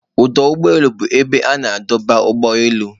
Ọdụ ụgbọ elu bụ ebe a na-adọba ụgbọ elu